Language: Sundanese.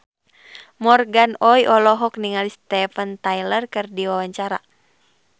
Morgan Oey olohok ningali Steven Tyler keur diwawancara